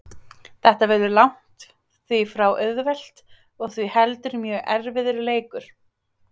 Þetta verður langt því frá auðvelt og því heldur mjög erfiður leikur.